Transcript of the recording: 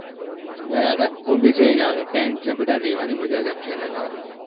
ગયા હતા હું ની જઈને આવ્યો tent અને બધા રહેવાની મજા જ આખી અલગ આવે.